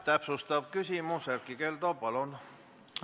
Täpsustav küsimus, Erkki Keldo, palun!